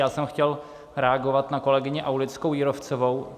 Já jsem chtěl reagovat na kolegyni Aulickou Jírovcovou.